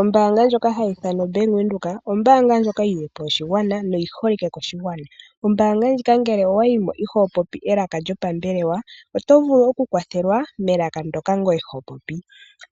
Ombaanga ndjoka hayi ithanwa Bank Windhoek, ombaanga ndjoka yi lilepo oshigwana noyi holike koshigwana. Ombaanga ndjika ngele owa yimo iho popi elaka lyopambelewa oto vulu oku kwathelwa melaka ndoka ngoye ho popi,